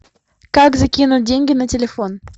как закинуть деньги на телефон